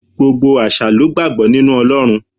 Gbogbo àṣà lo gbàgbọ́ nínú Ọlọ́run.